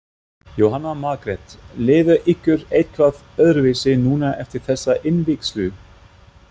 Jóhanna Margrét: Líður ykkur eitthvað öðruvísi núna eftir þessa innvígslu?